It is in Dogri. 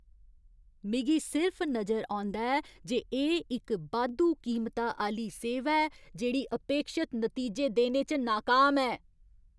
मिगी सिर्फ नजर औंदा ऐ जे एह् इक बाद्धू कीमता आह्‌ली सेवा ऐ जेह्ड़ी अपेक्षत नतीजे देने च नाकाम ऐ।